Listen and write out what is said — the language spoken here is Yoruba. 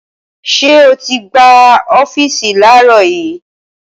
Ṣé o ti gbá ọ́fíìsì láàárọ̀ yìí?